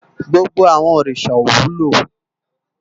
Gbógbó àwòn órisá ó wúló